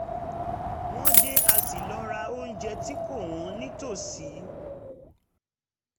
wọ́n dé a sì lọ ra onjẹ tí kò wọ́n nítòsí